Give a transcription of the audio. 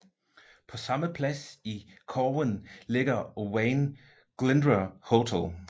På samme plads i Corwen ligger Owain Glyndwr Hotel